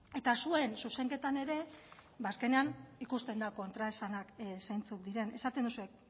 eta zuen zuzenketan ere azkenean ikusten da kontraesanak zeintzuk diren esaten duzue